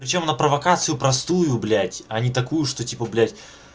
причём на провокацию простую блять они такую что типа блять